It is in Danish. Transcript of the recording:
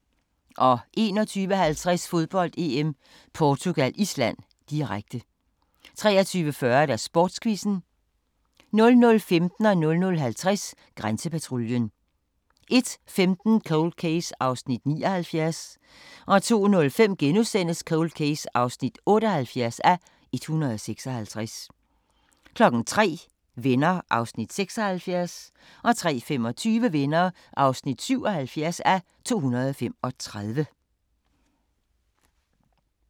21:50: Fodbold: EM - Portugal-Island, direkte 23:40: Sportsquizzen 00:15: Grænsepatruljen 00:50: Grænsepatruljen 01:15: Cold Case (79:156) 02:05: Cold Case (78:156)* 03:00: Venner (76:235) 03:25: Venner (77:235)